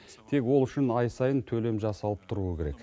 тек ол үшін ай сайын төлем жасалып тұруы керек